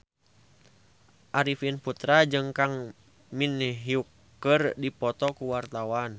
Arifin Putra jeung Kang Min Hyuk keur dipoto ku wartawan